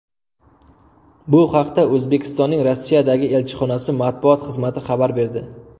Bu haqda O‘zbekistonning Rossiyadagi elchixonasi matbuot xizmati xabar berdi.